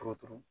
Turu turu